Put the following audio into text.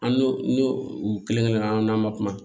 An n'o n'o u kelen kelen an n'an ma kuma